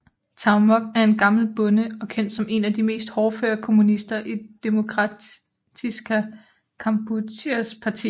Tag Mok er gammel bonde og kendt som en af de mere hårdføre kommunister i Demokratiska Kampucheas parti